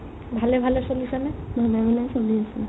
ভালে ভালে চলিছে নে